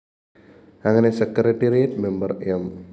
അങ്ങനെ secretariat member M